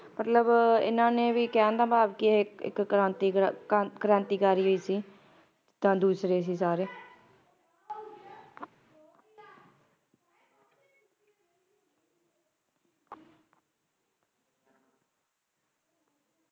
ਮਤਲਬ ਇਹਨਾਂ ਨੇ ਵੀ ਕਹਿਣ ਦਾ ਭਾਵ ਕਿ ਇਕ ਕ੍ਰਾਂਤੀ ਕ੍ਰਾਂਤੀਕਾਰੀ ਹੀ ਸੀ ਤਾਂ ਦੂਸਰੇ ਸੀ ਸਾਰੇ